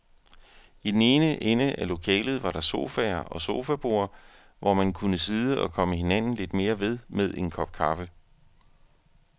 I den ene ende af lokalet var der sofaer og sofaborde, hvor man kunne sidde og komme hinanden lidt mere ved med en kop kaffe.